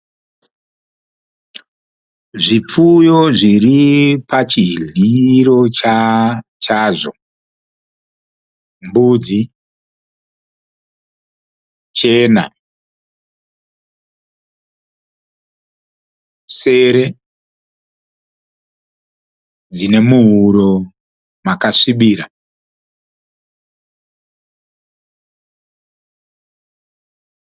Zvipfuyo zviri pachidyiro chazvo. Mbudzi chena, sere dzine muhuro makasvibira.